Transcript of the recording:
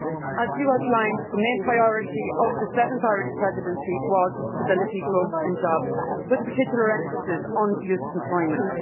As has been outlined, the main priority of the seventh Irish Presidency was stability, growth and jobs, with a particular emphasis on youth employment.